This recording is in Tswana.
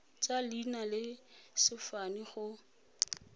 tsa leina le sefane go